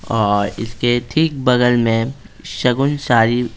और इसके ठीक बगल में शगुन सारी---